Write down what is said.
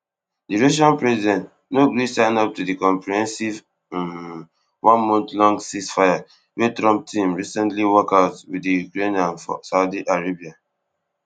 di russian president no gree sign up to di comprehensive um one monthlong ceasefire wey trump team recently work out wit ukrainians for saudi arabia